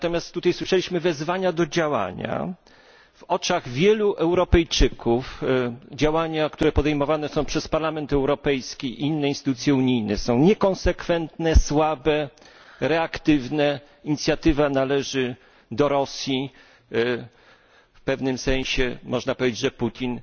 Tutaj słyszeliśmy wezwania do działania w oczach wielu Europejczyków działania, które podejmowane są przez Parlament Europejski i inne instytucje unijne, są niekonsekwentne, słabe, reaktywne, inicjatywa należy do Rosji, w pewnym sensie można powiedzieć, że Putin